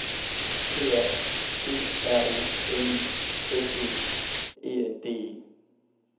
P A T R O N I S E R E N D E